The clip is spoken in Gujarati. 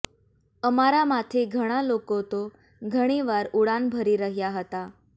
અમારામાંથી ઘણા લોકો તો ઘણીવાર ઉડાન ભરી રહ્યા હતા